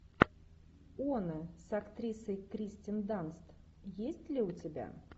оно с актрисой кирстен данст есть ли у тебя